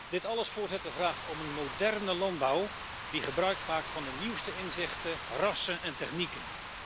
Dit alles vraagt om een moderne landbouw die gebruikmaakt van de nieuwste inzichten, rassen en technieken.